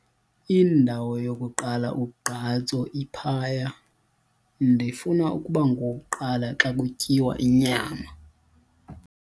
Indawo yokuqala ugqatso iphaya. ndifuna ukuba ngowokuqala xa kutyiwa inyama